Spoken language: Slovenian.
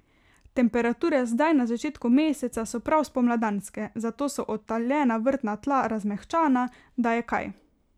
Temperature zdaj na začetku meseca so prav spomladanske, zato so odtaljena vrtna tla razmehčana, da je kaj.